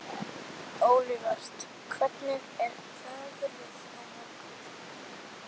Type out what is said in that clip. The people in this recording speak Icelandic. Olivert, hvernig er veðrið á morgun?